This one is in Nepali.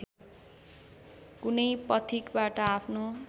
कुनै पथिकबाट आफ्नो